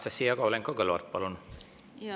Anastassia Kovalenko-Kõlvart, palun!